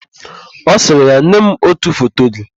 Ọ sịrị ya, "nye m ótù foto gị"!